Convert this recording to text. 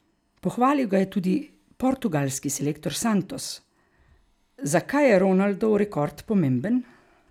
Pohvalil ga je tudi portugalski selektor Santos: 'Zakaj je Ronaldov rekord pomemben?